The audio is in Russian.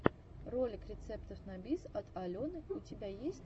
ролик рецептов на бис от алены у тебя есть